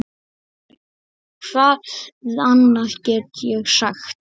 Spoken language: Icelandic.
Hvað annað get ég sagt?